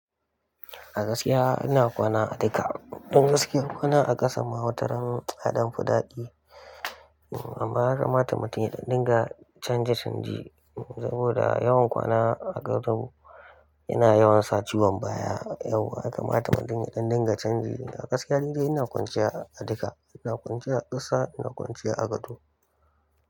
A gaskiya ina kwana a duka, don gaskiya kwana a ƙasan ma wataran, ya ɗan fiɗaɗi. Amma ya kamata mutun ya ɗan dinga canje canji, saboda yawan kwana a gado, yana yawan sa ciwon baya, yauwa ya kamata mutun ya ɗan dinga canji. A gaskiya ni dai ina kwanciya a duka, ina kwanciya a ƙasa, ina kwanciya a gado.